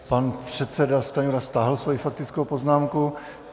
Pan předseda Stanjura stáhl svoji faktickou poznámku.